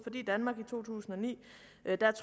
i danmark i to tusind og ni